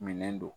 Minɛn don